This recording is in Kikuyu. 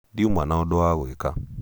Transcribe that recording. ndiuma na ũndũ wa gwĩka